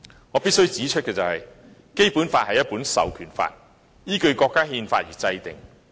我必須指出，《基本法》是一本授權法，依據國家憲法而制定。